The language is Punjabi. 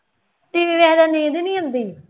TV ਵੇਖਦੇ ਨੀਂਦ ਹੀ ਆਉਂਦੀ